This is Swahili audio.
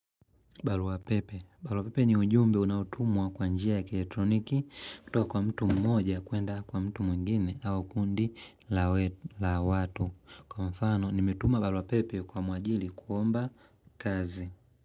Barua pepe. Barua pepe ni ujumbe unaotumwa kwa njia ya kielektroniki kutoka kwa mtu mmoja kuenda kwa mtu mwingine au kundi la watu. Kwa mfano nimetuma barua pepe kwa mwajiri kuomba kazi.